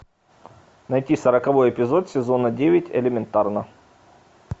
найти сороковой эпизод сезона девять элементарно